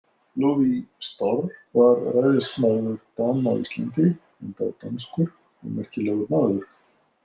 Ludvig Storr var ræðismaður Dana á Íslandi enda danskur og merkilegur maður.